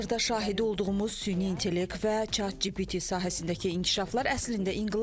Hazırda şahidi olduğumuz süni intellekt və chat GPT sahəsindəki inkişaflar əslində inqilabdır.